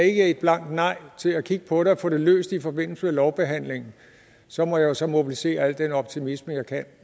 ikke er et blankt nej til at kigge på det og få det løst i forbindelse med lovbehandlingen så må jeg så mobilisere al den optimisme jeg kan